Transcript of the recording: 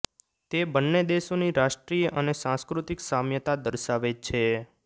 તે બંને દેશોની રાષ્ટ્રીય અને સાંસ્કૃતિક સામ્યતા દર્શાવે છે